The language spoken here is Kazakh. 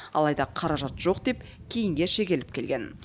алайда қаражат жоқ деп кейінге шегеріліп келген